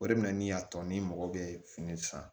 O de bɛna ni y'a tɔ ni mɔgɔ bɛ fini san